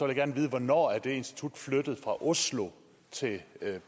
jeg gerne vide hvornår det institut er flyttet fra oslo til